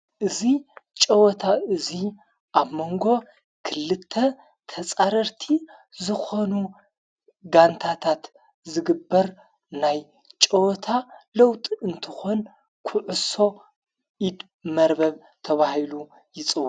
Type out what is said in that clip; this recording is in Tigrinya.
እዙ ጨወታ እዙይ ኣብ መንጎ ክልተ ተፃረርቲ ዝኾኑ ጋንታታት ዝግበር ናይ ጨወታ ለውጥ እንትኾን ዂዑሶ ኢድ መርበብ ተብሂሉ ይፅዋዕ።